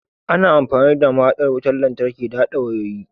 Ana amfani da mahaɗin wutar lantarki da haɗa wayoyi.